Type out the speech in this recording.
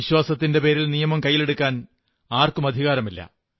വിശ്വാസത്തിന്റെ പേരിൽ നിയമം കൈയ്യിലെടുക്കാൻ ആർക്കും അധികാരമില്ല